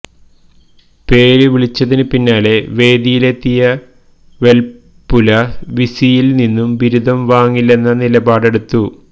പേര് വിളിച്ചതിന് പിന്നാലെ വേദിയിലെത്തിയ വെൽപുല വിസിയിൽ നിന്നും ബിരുദം വാങ്ങില്ലെന്ന നിലപാടെടുത്തു